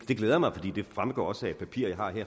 det glæder mig for det fremgår også af et papir